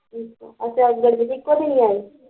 ਅੱਛਾ ਉਦਣ ਵੀ ਇੱਕੋ ਦਿਨ ਆਏ